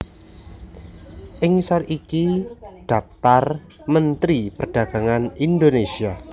Ing ngisor iki dhaptar Mentri Perdagangan Indonésia